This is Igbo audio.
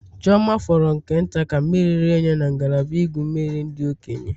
Chioma fọrọ nke nta ka mmiri rie ya na ngalaba igwu mmiri ndị okenye.